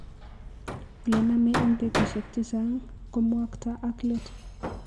Ole name eng' betushiek chechang' ko mwokto ak let.